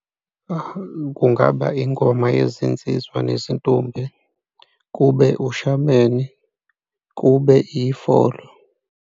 Kungaba ingoma yezinsizwa nezintombi kube ushameni, kube ifolo.